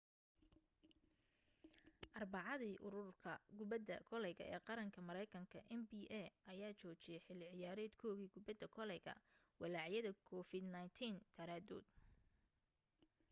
arbacadii ururka kubadda koleyga ee qaranka maraynkanka nba ayaa joojiyay xilli ciyaareedkoodii kubadda koleyga walaacyada covid-19 daraadood